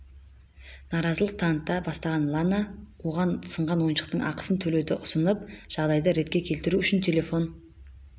наразылық таныта бастаған лана оған сынған ойыншықтың ақысын төлеуді ұсынып жағдайды ретке келтіру үшін телефон